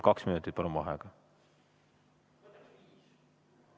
Kaks minutit vaheaega.